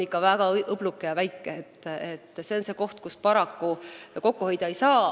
See on see koht, kus paraku kokku hoida ei saa.